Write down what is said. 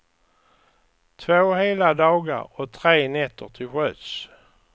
Två hela dagar och tre nätter till sjöss.